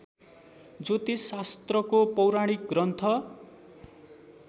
ज्योतिष शास्त्रको पौराणिक ग्रन्थ